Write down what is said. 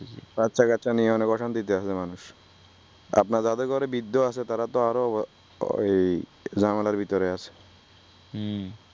বাচ্চাকাচ্চা নিয়ে অনেক অশান্তিতে আছে মানুষ আপনার যাদের ঘরে বৃদ্ধ আছে তারা তো আরো ঝামেলার ভিতর আছে উম বুঝতেছি